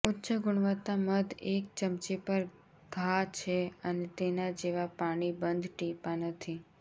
ઉચ્ચ ગુણવત્તા મધ એક ચમચી પર ઘા છે અને તેના જેવા પાણી બંધ ટીપાં નથી